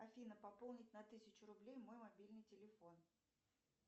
афина пополнить на тысячу рублей мой мобильный телефон